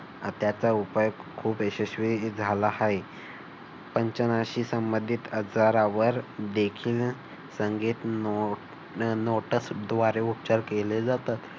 त्याचा उपाय खूप यशस्वी झाला आहे. पंचनाशी संबंधित आजारावर देखील संगीत नोटसद्वारे उपचार केले जातात.